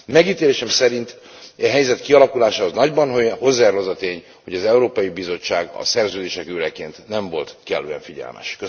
Megítélésem szerint e helyzet kialakulásához nagyban hozzájárul az a tény, hogy az Európai Bizottság a szerződések őreként nem volt kellően figyelmes.